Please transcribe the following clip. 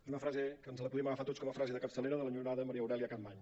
és una frase que ens la podem agafar tots com a frase de capçalera de l’enyorada maria aurèlia capmany